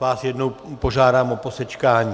vás jednou požádám o posečkání.